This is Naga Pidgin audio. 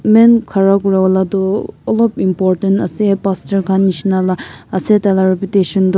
man khara kura lah tu olop important ase pastor khan nisna lah ase ta la invitation tu--